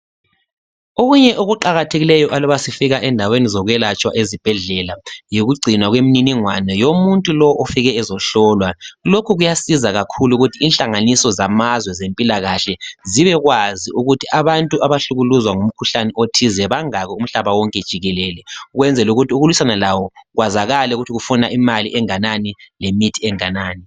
Okunye okuqakathekileyo aluba sifika endaweni zokwelatshwa ezibhedlela. Yikugcinwa kwemininingwana yomuntu lowo ofike ezohlolwa. Lokhu kuyasiza kakhulu inhlanganiso zamazwe zempilakahle, zibekwazi ukuthi abantu abahlukuluzwa ngumkhuhlane othize, bangaki umhlaba wonke jikelele. Ukwenzela ukuthi ukulwisana lawo kwazakale ukuthi kufuna imithi enganani, lemali enganani.